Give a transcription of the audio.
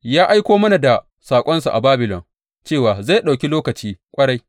Ya aiko mana da saƙonsa a Babilon cewa zai ɗauki lokaci ƙwarai.